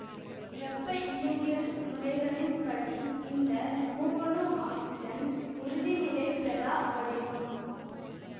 வெப்ப இயங்கியல் முறைகளின் படி இந்த மூவணு ஆக்சிசன் உறுதிநிலைப்பெறா வடிவம்